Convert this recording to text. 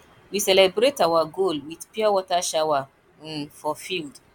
we celebrate our goal with pure water shower um for field